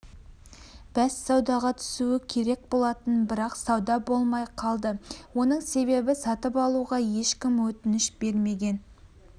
бәссаудаға түсуі керек болатын бірақ сауда болмай қалды оның себебі сатып алуға ешкім өтініш бермеген